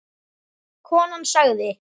Konan sagði